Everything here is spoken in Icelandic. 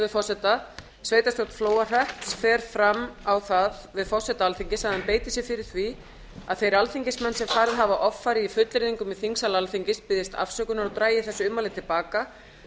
forseta sveitarstjórn flóahrepps fer fram á það við forseta alþingis að hann beiti sér fyrir því að þeir alþingismenn sem farið hafa offari í fullyrðingum í þingsal alþingis biðjist afsökunar og dragi þessi ummæli til baka